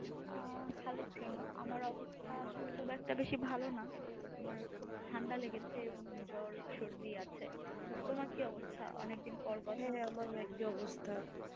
আহ ভালো আছি আমার অবস্তা খুব একটা বেশি ভালো না আমার খুব ঠান্ডা লেগেছে এবং জ্বর সরধী আছে তুমার কি অবস্তা অনেক দিন পর